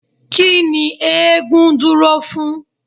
Kí ni eégún dúró fún?